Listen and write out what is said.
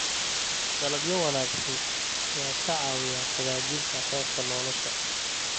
Dalagyo wanaagsan ayaa ka caawiya hagaajinta heerka nolosha.